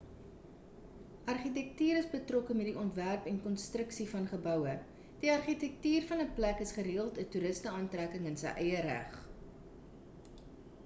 argitektuur is betrokke met die ontwerp en konstruksie van geboue die argitektuur van 'n plek is gereeld 'n toeruste aantrekking in sy eie reg